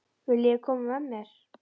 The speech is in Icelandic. Viljiði koma með mér?